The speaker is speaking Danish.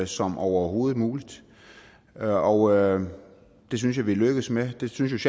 som overhovedet muligt og og det synes jeg vi er lykkedes med det synes